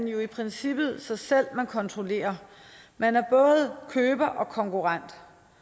jo i princippet sig selv man kontrollerer man er både køber og konkurrent